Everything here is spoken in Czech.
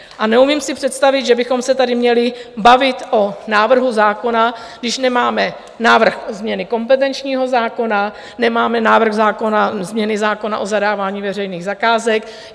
A neumím si představit, že bychom se tady měli bavit o návrhu zákona, když nemáme návrh změny kompetenčního zákona, nemáme návrh změny zákona o zadávání veřejných zakázek.